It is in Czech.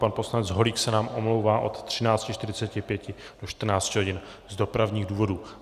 Pan poslanec Holík se nám omlouvá od 13.45 do 14.00 hodin z dopravních důvodů.